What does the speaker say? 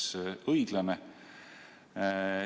See oleks õiglane.